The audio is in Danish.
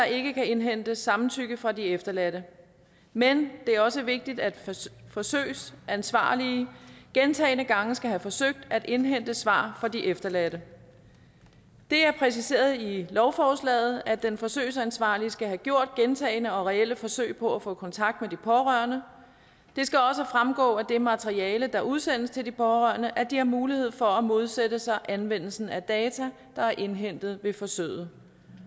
ikke kan indhentes samtykke fra de efterladte men det er også vigtigt at forsøgsansvarlige gentagne gange skal have forsøgt at indhente svar fra de efterladte det er præciseret i lovforslaget at den forsøgsansvarlige skal have gjort gentagne og reelle forsøg på at få kontakt med de pårørende det skal også fremgå af det materiale der udsendes til de pårørende at de har mulighed for at modsætte sig anvendelsen af data der er indhentet ved forsøget